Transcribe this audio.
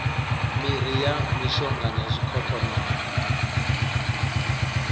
miri ya mishonga na zwikhokhonono